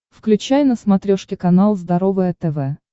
включай на смотрешке канал здоровое тв